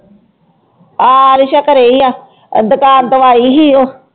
ਹਾਂ ਰਿਸਾ ਘਰੇ ਹੀ ਆ, ਦੁਕਾਨ ਤੋਂ ਆਈ ਸੀ ਉਹ।